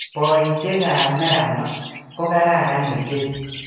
Boisiekab neranoo ko kararan ochei.